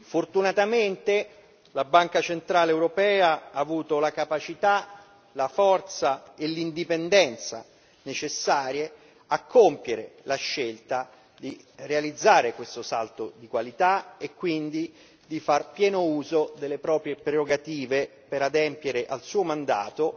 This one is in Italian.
Fortunatamente la Banca centrale europea ha avuto la capacità, la forza e l'indipendenza necessarie a compiere la scelta di realizzare questo salto di qualità e quindi di fare pieno uso delle proprie prerogative per adempiere al suo mandato,